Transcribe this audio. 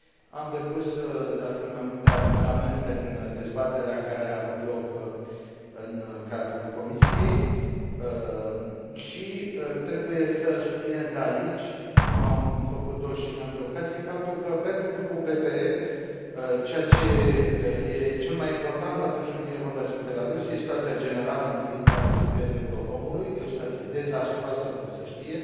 Am depus, de altfel, mai multe amendamente în dezbaterea care a avut loc în cadrul comisiei și trebuie să subliniez aici, cum am făcut o și în alte ocazii, faptul că, pentru Grupul PPE, ceea ce este cel mai important atunci când vine vorba despre Belarus este situația generală în privința respectării drepturilor omului este o situație dezastruoasă, cum se știe.